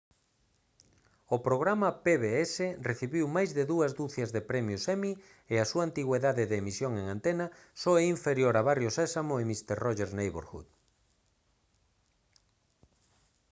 o programa pbs recibiu máis de dúas ducias de premios emmy e a súa antigüidade de emisión en antena só é inferior a barrio sésamo e mister rogers' neighborhood